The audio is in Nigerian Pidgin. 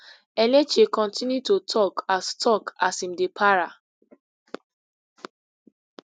enenche kontinu to tok as tok as im dey para